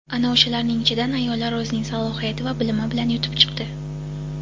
ana o‘shalarning ichidan ayollar o‘zining salohiyati va bilimi bilan yutib chiqdi.